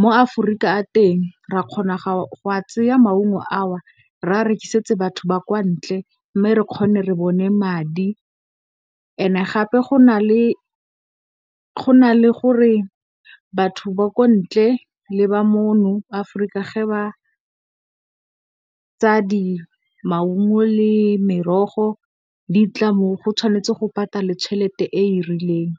mo Aforika a le teng ra kgona go a tseya maungo a o, re a rekisetse batho ba kwa ntle mme, re kgone re bone madi. Gape go na le gore batho ba kwa ntle le ba mo Aforika ge ba tsaya maungo le merogo, ditlamo, tshwanetse go patalwe tšhelete e e rileng.